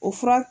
O fura